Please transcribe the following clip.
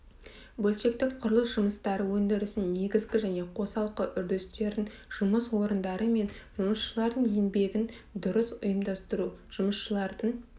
бөлшектік құрылыс жұмыстары өндірісінің негізгі және қосалқы үрдістерін жұмыс орындары мен жұмысшылардың еңбегін дұрыс ұйымдастыру жұмысшылардың